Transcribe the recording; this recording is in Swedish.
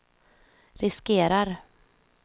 riskerar